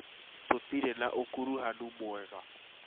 Tũtirĩ na ũkuruhanu mwega